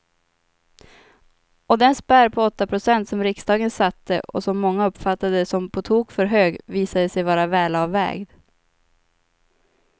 Och den spärr på åtta procent som riksdagen satte och som många uppfattade som på tok för hög visade sig vara välavvägd.